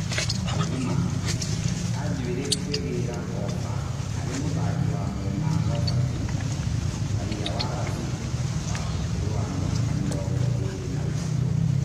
(Gĩ thima) Kanjuĩ rĩ kũigĩ ra ofa harĩ mũthaki wa mwena Robati raia wa Razib , wa ũkũrũ wa mĩ aka mĩ rongo ĩ rĩ na ĩ tatũ.